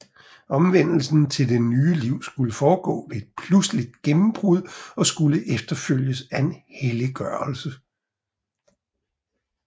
Omvendelsen til det nye liv skulle foregå ved et pludseligt gennembrud og skulle efterfølges af en helliggørelse